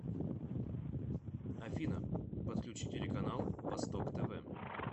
афина подключи телеканал восток тв